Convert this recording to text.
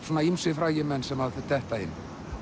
ýmsir frægir menn sem detta inn